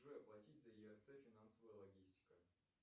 джой оплатить за ерц финансовая логистика